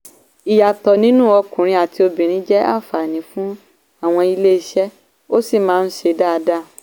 ìyàtọ̀ nínú ọkùnrin àti obìnrin jẹ́ àǹfààní fún àwọn iléeṣẹ́ ó sì máa ń ṣe dáadáa.